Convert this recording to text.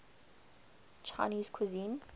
chinese cuisine